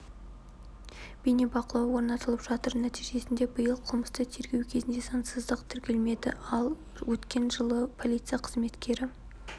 бейнебақылау орнатылып жатыр нәтижесінде биыл қылмысты тергеу кезінде заңсыздық тіркелмеді ал өткен жылы полиция қызметкері